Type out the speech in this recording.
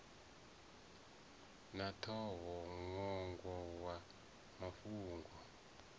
na ṱhoho ṅwongo wa mafhungo